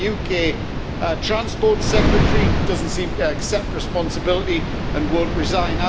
The UK transport Secretary doesn't seem to accept responsibility and won't resign.